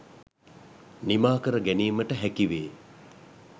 නිමා කර ගැනීමට හැකිවේ?